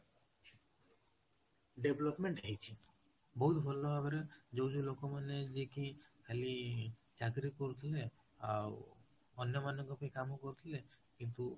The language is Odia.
development ହେଇଛି ବହୁତ ଭଲ ଭାବରେ ଯୋଉଠି ଲୋକ ମାନେ ଯାଇକି ଖାଲି ଚାକିରୀ କରୁଥିଲେ ଆଉ ଅନ୍ୟ ମାନଙ୍କ ପାଇଁ କାମ କରୁ ଥିଲେ କିନ୍ତୁ